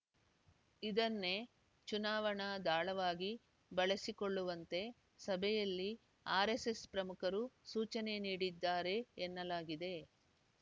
ಇದನ್ನೇ ಚುನಾವಣಾ ದಾಳವಾಗಿ ಬಳಸಿಕೊಳ್ಳುವಂತೆ ಸಭೆಯಲ್ಲಿ ಆರೆಸ್ಸೆಸ್‌ ಪ್ರಮುಖರು ಸೂಚನೆ ನೀಡಿದ್ದಾರೆ ಎನ್ನಲಾಗಿದೆ